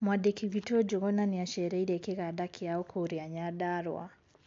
Mwandĩki witũ Njũgũna nĩacereire kĩganda kĩao kũria Nyandarua